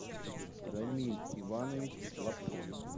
рамиль иванович лапшин